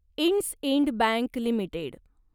IndusInd bank limited